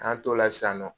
An tola sisan nɔ